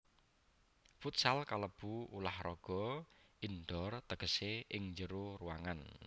Futsal kalebu ulah raga indoor tegesé ing njero ruangan